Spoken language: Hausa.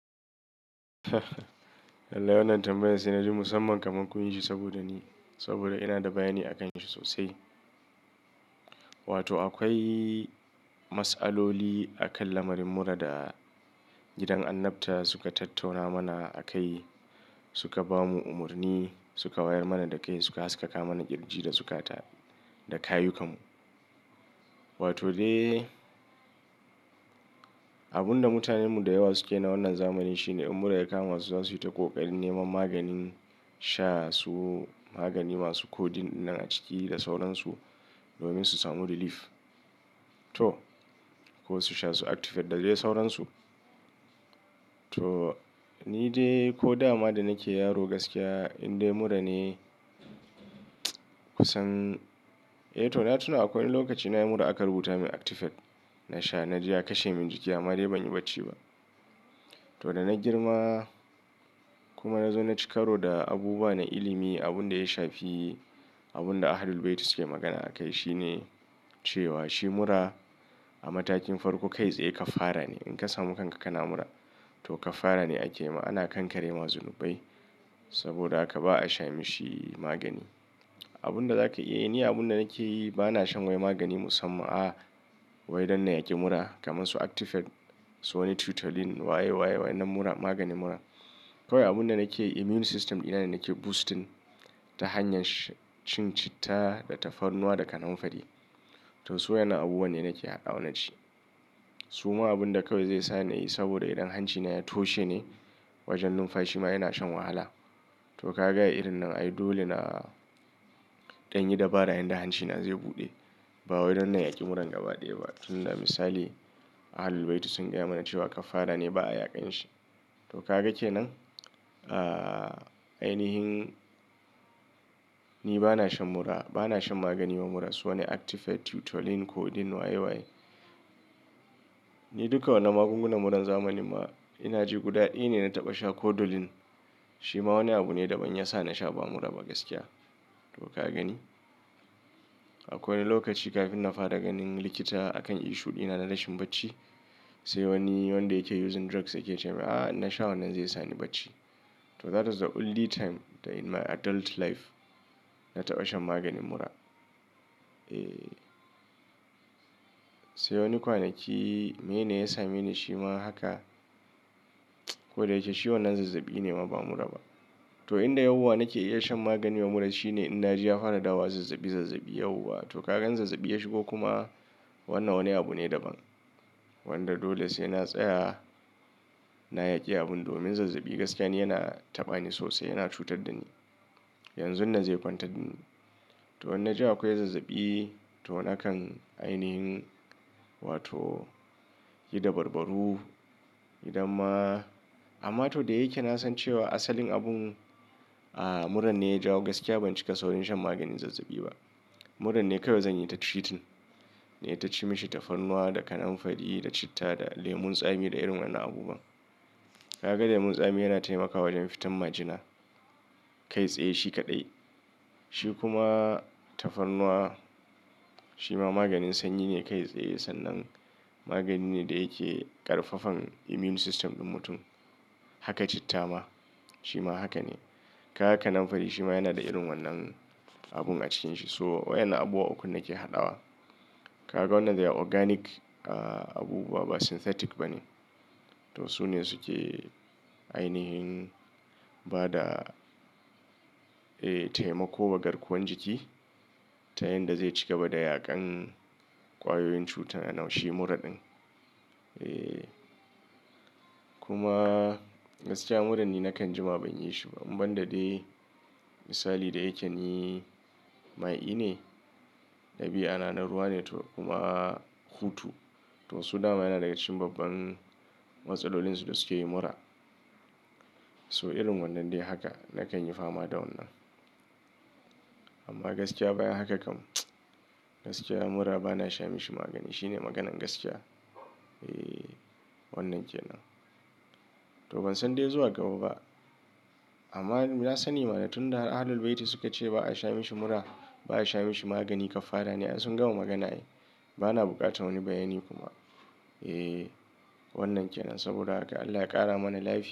Lallai wannan tambayan sai na ji musamman kamar kun yi shi saboda ni. Saboda ina da bayani akanshi sosai. Wato akwai masaloli akan lamarin mura da gidan annabta suka tattauna mana a kai, suka bamu umarni, suka wayar mana da kai, suka haskaka mana kirji da suka ta da kayuka mu. Wato dai abun da mutanen mu da yawa suke na wannan zamanin shine in mura ya kama su, za su yi ta ƙoƙari neman maganin sha su, magani masu koɗin nan a ciki da sauransu domin su samu relief. To ko su sha su actifed dadai sauransu. To ni dai ko dama da nake yaro gaskiya indai mura ne kusan, eh to na tuna akwai lokaci na yi mura aka rubuta min Actifed na sha. Na je ya kashe min jiki amma dai ban yi bacci ba. To da na girma kuma na zo na ci karo da abubuwa na ilimi, abun da ya shafi, abun da Ahlul Bayti suke magana akai shine cewa shi mura a matakin farko kai tsaye kaffara ne. In ka samu kanka kana mura to kafara ne a ke ma. Ana kankare ma zunubai saboda haka ba a sha mishi magani. Abun da zaka iya yi, ni abun da nake yi ba na shan wai magani musamman a'a, wai wannan ya ƙi mura kamar su Actifed, su wani Tutolin waye, waye wannan mura maganin mura. Kawai abun da nake immune system dina ne nake boosting ta hanyar sha, cin citta da tafarnuwa da kananfari. To su wa'innan abubuwan ne nake haɗa wa na ci. Su ma abun da kawai zai sa ni yi saboda idan hancina ya toshe ne wajen numfashi ma ina shan wahala. To ka ga irin nan? Ai dole na ɗan yi dabara yanda hancina zai buɗe. Ba wai wannan ya ƙi muran gabaɗaya ba. Tun da misali Ahlul Bayti sun gaya mana cewa kafara ne ba a yaƙan shi. To ka gaka kenan? Aaa, ainihin ni ba na shan mura, ba na shan magani ma mura su wane Actifed, Tutolin kodin waye waye. Ni duka wannan magungunan muran zamanin ma ina ji guda ɗaya ne na taɓa sha Kodolin. Shi ma wani abu ne daban ya sa na sha ba mura ba gaskiya. To ka gani? Akwai lokaci kafin na fara ganin likita akan issue dina, na rashin bacci. Sai wani wanda yake using drugs yake ce min, "Ah, in na sha wannan zai sa ni bacci." to that's the only time that in my adult life na taɓa shan maganin mura sai wani kwanaki meyene ya sameni shi ma haka ko da yake shi wannan zazzabi ne ma ba mura ba. To inda yauwa nake iya shan magani ma mura shine in na je ya fara dawowa zazzabi, zazzabi yauwa. To ka ga in zazzabi ya shigo kuma wannan wani abu ne daban. Wanda dole sai na tsaya, na yaƙi abun domin zazzabi gaskiya ni yana taɓa ni sosai, yana cutar da ni. Yanzu nan zai kwantar dani to inna ji akwai zazzabi to nakan ainihin wato yi dabarbaru idan ma. Amma to da yake na san cewa asalin abun, mura ne ya ja. Gaskiya ban cika saurin shan maganin zazzabi ba. Muran ne kawai zanyi ta treating. Nayi ta ci mishi tafarnuwa da kananfari da citta da lemon tsami da irin wannan abubuwan. Ka ga lemon tsami yana taimakawa wajen fitan majina. Kai tsaye shi kaɗai. Shi kuma tafarnuwa shi ma maganin sanyi ne kai tsaye sannan magani ne da yake ƙarfafan immune system din mutum. Haka citta ma shi ma haka ne. Kaga kananfari shi ma yana da irin wannan abun a cikinshi. So wayan abubuwa ukun nake haɗawa. Ka ga wannan they are organic, abubuwa ba synthetic ba ne. To su ne suke ainahin ba da, taimako wa garkuwan jiki ta yanda zai cigaba da yaƙan ƙwayoyin cuta a nau' shi mura ɗin. Eh kuma gaskiya mura ni na kan jima ban yi shi ba. In ban da dai misali da yake ni mai i ne, dabia na na ruwa ne to kuma hutu. To su dama yana daga cikin babban matsalolin su da suke yi mura. To irin wannan dai haka na kan yi fama da wannan. Amma gaskiya bayan haka kam. Gaskiya mura ba na sha mishi magani. Shi ne maganan gaskiya. Eh wannan ke nan. To ban san dai zuwa gaba ba. Amma na sani ma dan tun da Ahlul Bayti suka ce ba a sha mishi mura, ba a sha mishi magani. Kafara ne ai. Sun gama magana ai ba na buƙatar wani bayani kuma. Eh wannan ke nan saboda haka Allah ya ƙara mana lafiya.